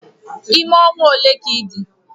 Ime ọnwa ole ka ịdị?